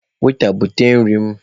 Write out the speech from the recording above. Weta, bute nri m!